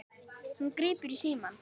Hún grípur símann.